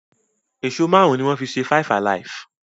Èso márùn ní wón fí ṣe five alive.